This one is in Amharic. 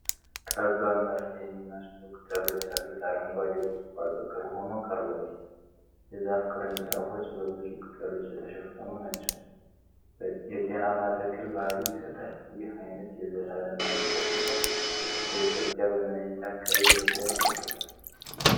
ጠባብ መርፌ የሚመስሉ ቅጠሎች ያሉት አረንጓዴ ቁጥቋጦ ቅርብ ሆኖ ቀርቧል። የዛፉ ቅርንጫፎች በብዙ ቅጠሎች የተሸፈኑ ናቸው። የጤናማ ተክል ባህሪይ ይሰጣል። ይህ ዓይነት የዘላለም አረንጓዴ ዛፍ በኢትዮጵያ በምን ዓይነት አካባቢ በብዛት ይበቅላል?